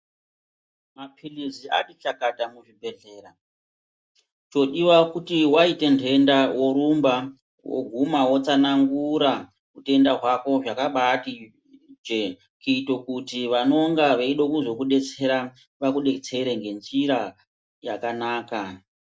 Maphilii ati chakata muzvibhehlera. Chodiwa kuti waite ntenda worumba, woguma wotsanangura utenda hwako zvakabatije kuito kuti vanonga veida kuzodetsera vakudetsere ngenjira yakanaka.